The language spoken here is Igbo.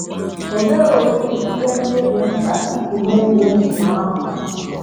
O meworị ihe ndị dị mkpa iji mezuo nzube ahụ.